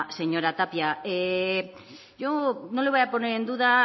señora tapia yo no le voy a poner en duda